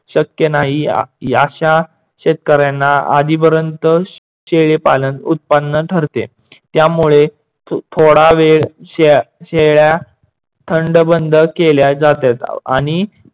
शक्य नाही अश्या शेतकाऱ्यांना आधीपर्यंत शेळी पालन उत्पन्न ठरते. त्यामुळे थोडा वेळ शेळ्या थंडबंद केल्या जातात आणि